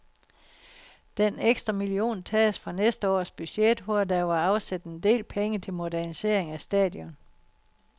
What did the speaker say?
Den ekstra million tages fra næste års budget, hvor der var afsat en del penge til modernisering af stadion.